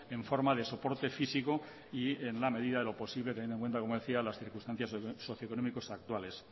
en forma de soporte físico y en la medida de lo posible teniendo en cuenta como decía las circunstancias socioeconómicos actuales